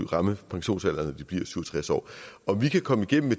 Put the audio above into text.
ramme pensionsalderen når de bliver syv og tres år om vi kan komme igennem